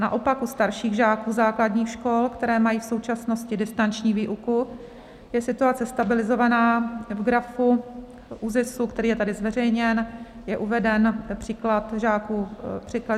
Naopak u starších žáků základních škol, které mají v současnosti distanční výuku, je situace stabilizovaná, v grafu ÚZISu, který je tady zveřejněn, je uveden příklad žáků ve věku 13 let.